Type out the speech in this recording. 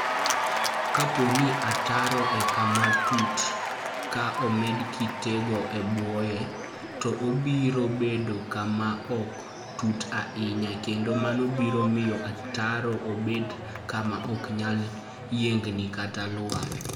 Kapo ni ataro en kama tut, ka omed kitego e bwoye, to obiro bedo kama ok tut ahinya, kendo mano biro miyo ataro obed kama ok nyal yiengni kata lwar.